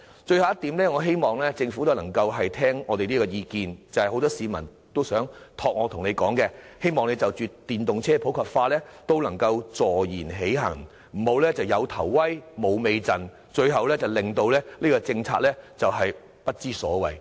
最後，我希望政府能聽取我們的意見，因很多市民要求我向政府反映，就着電動車普及化，政府必須坐言起行，不能"有頭威，無尾陣"，最終令有關政策變得不倫不類。